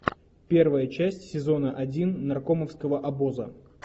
первая часть сезона один наркомовского обоза